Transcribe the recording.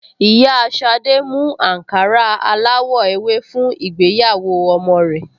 Ìyá Ṣadé mú àǹkárá aláwọ̀ ewé fún ìgbéyàwó ọmọ rẹ̀